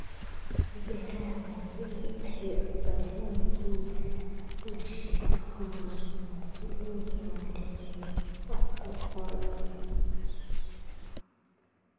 Beeraha waaweyni waxay u baahan yihiin mashiino horumarsan si loo maareeyo wax ku ool ah.